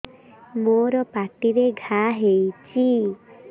ମୋର ପାଟିରେ ଘା ହେଇଚି